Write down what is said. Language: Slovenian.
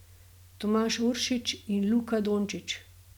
Tomaž Uršič in Luka Dončić.